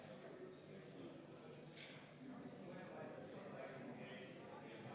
Ja ma palun panna hääletusele see eelnõu ja enne seda võtta kümme minutit vaheaega.